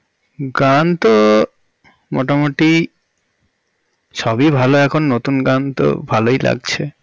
গান তো মোটামুটি সবই ভালো এখন নতুন গান তো ভালই লাগছে